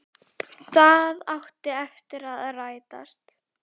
Það átti eftir að rætast.